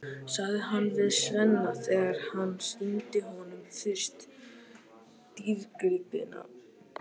sagði hann við Svenna þegar hann sýndi honum fyrst dýrgripina.